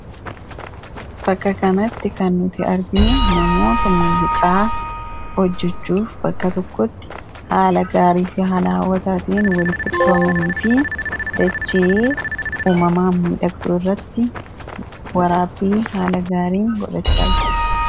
bakka kanatti kan nuti arginu namoota muuziqaa hojjechuuf bakka tokkotti haala gaarii fi haala hawwataatiin walitti qabamanii fi dachee uumamaa midhagduu irratti waraabbii haala gaariin godhachaa jiru.